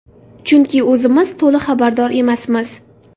Chunki o‘zimiz to‘liq xabardor emasmiz.